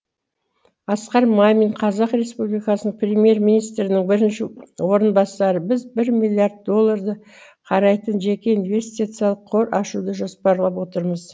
асқар мамин қазақ республикасының премьер министрінің бірінші орынбасары біз бір миллиард долларды қарайтын жеке инвестициялық қор ашуды жоспарлап отырмыз